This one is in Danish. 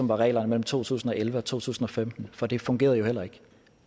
var reglerne mellem to tusind og elleve og to tusind og femten for det fungerede heller ikke